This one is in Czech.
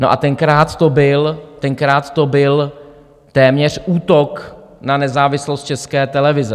No a tenkrát to byl téměř útok na nezávislost České televize.